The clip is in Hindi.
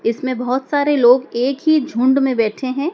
इसमें बहुत सारे लोग एक ही झुंड में बैठे हैं।